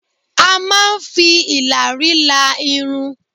A máa ń fi ìlàrí la irun